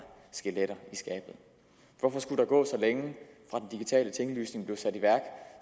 skeletter i skabet hvorfor skulle der gå så længe fra den digitale tinglysning blev sat i værk